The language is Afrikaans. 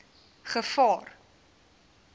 gevaar